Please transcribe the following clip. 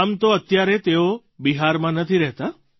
આમ તો અત્યારે તેઓ બિહારમાં નથી રહેતા